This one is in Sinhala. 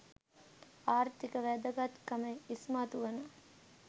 ආර්ථික වැදගත්කම ඉස්මතු වන